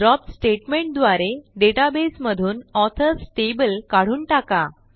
drop statement द्वारे डेटाबेसमधून authors table काढून टाका